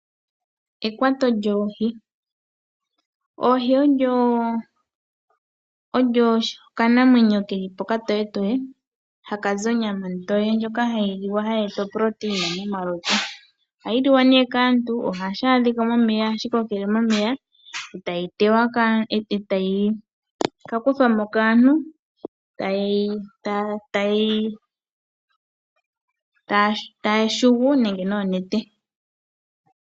Oohi odho okanamwenyo ke li po okatoyetoye ha ka zi onyama ontoye ndjoka hayi liwa yi na iitungithilutu. Ohadhi liwa nee kaantu, oha dhi kokele momeya, ta dhi ka kuthwamo kaantu taya shongola nenge noonete.